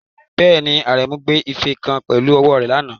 Bẹ́ẹ̀ni, Aremu gbé ife kan pẹ̀lú ọwọ́ rẹ̀ lánàá.